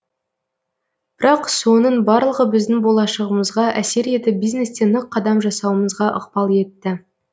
бірақ соның барлығы біздің болашағымызға әсер етіп бизнесте нық қадам жасауымызға ықпал етті